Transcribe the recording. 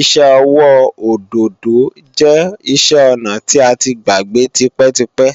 iṣẹ́ ọwọ́ òdòdó jẹ́ iṣẹ́-ọnà tí a ti gbàgbé tipẹ́tipẹ́